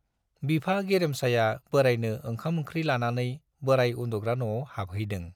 बिफा गेरेमसाया बोरायनो ओंखाम-ओंख्रि लानानै बोराय उन्दुग्रा न'आव हाबहैदों।